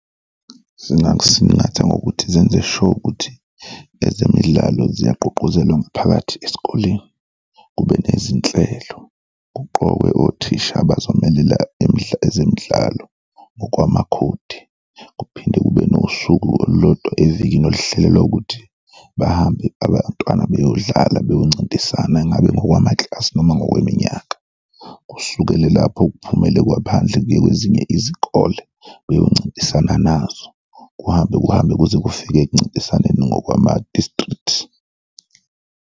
Zingakusingatha ngokuthi zenze sure ukuthi ezemidlalo ziyagqugquzela umphakathi esikoleni, kube nezinhlelo. Kuqokwe othisha abazomelela ezemidlalo ngokwamakhodi kuphinde kube nosuku olulodwa evikini oluhlelelwa ukuthi bahambe abantwana beyodlala, beyoncintisana, ngabe ngokwama-class noma ngokweminyaka. Kusukele lapho kuphumele kuyiwe phandle, kuyiwe kwezinye izikole beyoncintisana nazo, kuhambe kuhambe kuze kufike kuncintisane ngokwama-district.